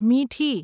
મીઠી